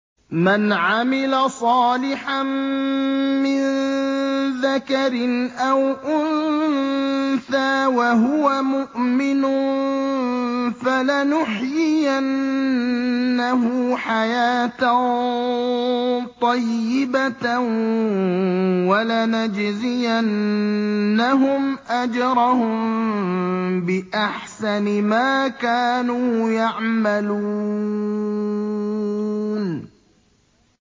مَنْ عَمِلَ صَالِحًا مِّن ذَكَرٍ أَوْ أُنثَىٰ وَهُوَ مُؤْمِنٌ فَلَنُحْيِيَنَّهُ حَيَاةً طَيِّبَةً ۖ وَلَنَجْزِيَنَّهُمْ أَجْرَهُم بِأَحْسَنِ مَا كَانُوا يَعْمَلُونَ